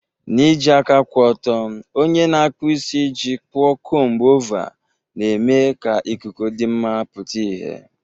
N'iji aka kwụ ọtọ, onye na-akpụ isi ji kpụọ comb-over, na-eme ka ikuku dị mma pụta ìhè.